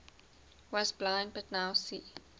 was blind but now see